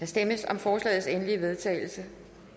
stemmes om forslagets endelige vedtagelse